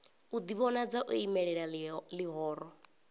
u ḓivhonadza o imelela ḽihoro